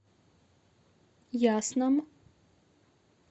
ясном